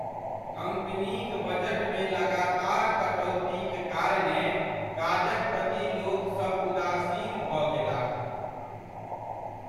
कम्पनीक बजटमे लगातार कटौतीक कारणेँ काजक प्रति लोकसभ उदासीन भऽ गेलाह।